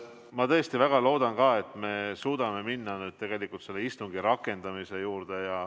Ma tõesti väga loodan ka, et me suudame minna istungi rakendamise juurde.